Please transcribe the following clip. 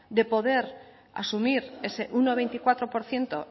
de poder asumir ese uno coma veinticuatro por ciento